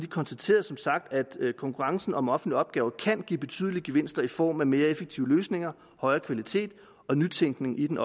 konstaterede som sagt at konkurrencen om offentlige opgaver kan give betydelige gevinster i form af mere effektive løsninger højere kvalitet og nytænkning i den